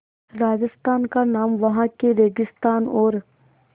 राजस्थान का नाम वहाँ के रेगिस्तान और